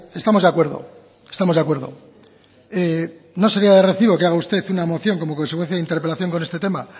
estamos de acuerdo estamos de acuerdo no sería de recibo que haga usted una moción como consecuencia de interpelación con este tema